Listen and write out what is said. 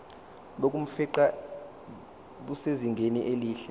bokufingqa busezingeni elihle